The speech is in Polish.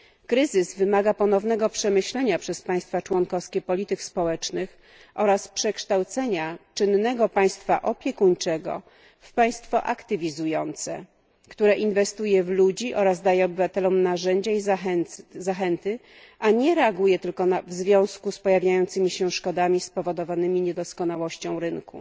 Kryzys wymaga ponownego przemyślenia przez państwa członkowskie polityk społecznych oraz przekształcenia czynnego państwa opiekuńczego w państwo aktywizujące, które inwestuje w ludzi oraz daje obywatelom narzędzia i zachęty, a nie reaguje tylko w związku z pojawiającymi się szkodami spowodowanymi niedoskonałością rynku.